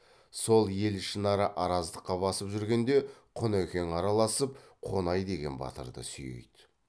сол ел ішінара араздыққа басып жүргенде құнекең араласып қонай деген батырды сүйейді